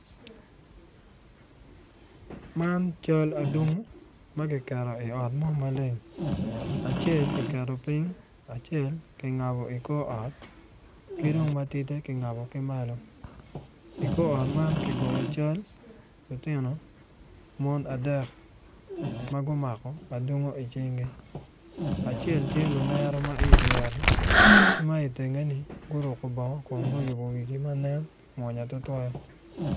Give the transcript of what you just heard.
Man cal atungu ma kiketo i ot mo maleng acel ki keto piny acel ki ngabo i kor ot ki dong matite ki ngabo ki malo i kor ot man ki goyo cal lutino mon adek ma gumako adungu i cingi acel tye lunero ma i dyere ki ma itenge-ni guruku bongo kun guyubo wigi ma nen mwonya tutwal